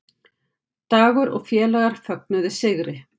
Dagur og félagar fögnuðu sigri